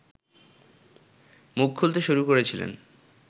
মুখ খুলতে শুরু করেছিলেন